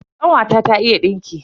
Kanwata ta iya dinki.